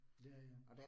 Ja ja